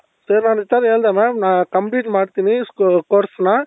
so ನಾನ್ ತವ ಹೇಳ್ದೆ mam complete ಮಾಡ್ತೀನಿ course ನ .